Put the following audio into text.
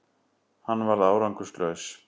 Hann varð árangurslaus